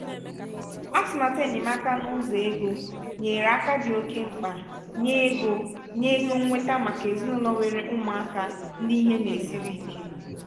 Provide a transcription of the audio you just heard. atụmatụ enyemaka n'ụzọ ego nyèrè aka dị oké mkpa nye ego nye ego nnweta màkà ezinụlọ nwèrè ụmụaka ndị ihe na-esiri ike.